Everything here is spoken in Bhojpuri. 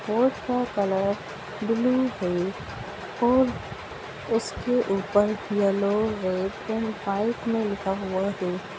बोर्ड का कलर ब्लू है और उसके ऊपर येलो है पाइप में लिख हुआ है ।